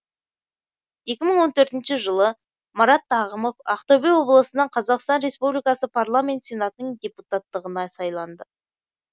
екі мың он төртінші жылы марат тағымов ақтөбе облысынан қазақстан республикасы парламент сенатының депутаттығына сайланды